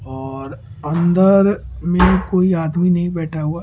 और अंदर में कोई आदमी नहीं बैठा हुआ --